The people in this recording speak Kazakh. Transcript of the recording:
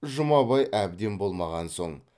жұмабай әбден болмаған соң